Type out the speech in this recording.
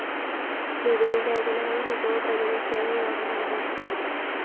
വിവിധ മേഖലകളില്‍ മികവു പ്രകടിപ്പിച്ചവരെ യോഗം അനുമോദിച്ചു